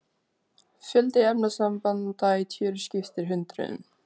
Fjöldi efnasambanda í tjöru skiptir hundruðum.